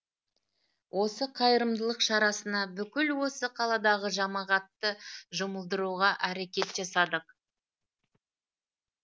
осы қайырымдылық шарасына бүкіл осы қаладағы жамағатты жұмылдыруға әрекет жасадық